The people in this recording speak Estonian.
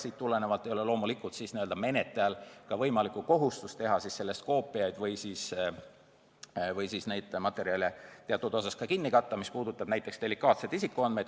Siit tulenevalt ei ole loomulikult ka menetlejal kohustust teha koopiaid või siis neid materjale teatud osas kinni katta, mis puudutab näiteks delikaatseid isikuandmeid.